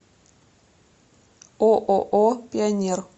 ооо пионер